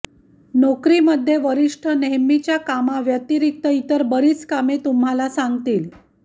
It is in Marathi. नोकरीमध्ये वरिष्ठ नेहमीच्या कामाव्यतिरिक्त इतर बरीच कामे तुम्हाला सांगतील